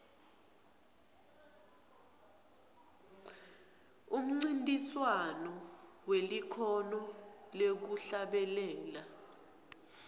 umncintiswano welikhono lekuhlabelela